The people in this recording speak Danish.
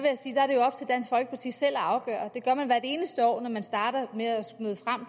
sige selv at afgøre det gør man hvert eneste år når man starter med at møde frem